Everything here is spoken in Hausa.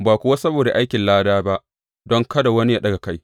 Ba kuwa saboda aikin lada ba, don kada wani yă ɗaga kai.